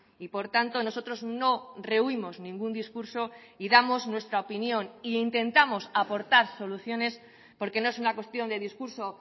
y por tanto nosotros no rehuimos ningún discurso y damos nuestra opinión e intentamos aportar soluciones porque no es una cuestión de discurso